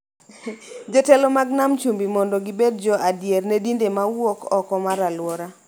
Jotelo mag nam chumbi mondo gibed jo adier ne dinde ma wuok oko mar alwora.